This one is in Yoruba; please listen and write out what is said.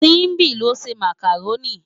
Simbi ló nsé mákáróni